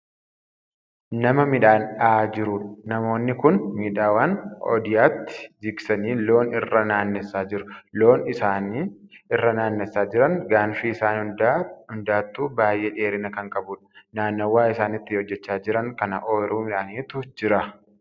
Nama midhaan dhahaa jiruudha. namoonni Kuni midhaan ooydaatti jigsanii loon irra naannessaa jiru. loon isaan irra naannessaa Jiran gaanfi isaan hundaatuu baay'ee dheerina Kan qabuudha. naannawa isaan itti hojjachaa Jiran kana ooyruu midhaaniitu Jira.